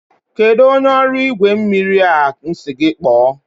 kedụ onye ọrụ igwe mmiri a sị gị kpọọ?